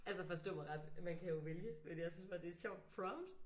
Altså forstå mig ret man kan jo vælge men jeg synes bare det er et sjovt prompt